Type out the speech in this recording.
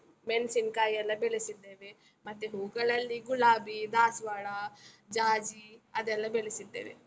ಮೆಣ್ಸಿನ್ಕಾಯಿ ಎಲ್ಲ ಬೆಳೆಸಿದ್ದೇವೆ, ಮತ್ತೆ ಹೂಗಳಲ್ಲಿ ಗುಲಾಬಿ, ದಾಸ್ವಾಳ, ಜಾಜಿ ಅದೆಲ್ಲ ಬೆಳೆಸಿದ್ದೇವೆ.